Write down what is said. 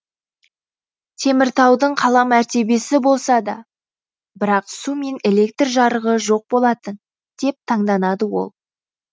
теміртаудың қала мәртебесі болса да бірақ су мен электр жарығы жоқ болатын деп таңданады ол